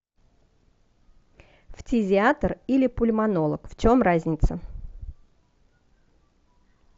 фтизиатр или пульмонолог в чем разница